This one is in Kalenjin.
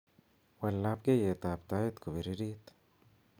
wal labkeiyetab tait kobiririt